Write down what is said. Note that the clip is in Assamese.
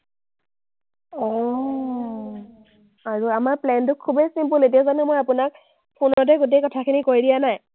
আৰু আমাৰ plan টো খুবেই simple । এতিয়া জানো মই আপোনাক ফোনতেই গোটেই কথাখিনি কৈ দিয়া নাই?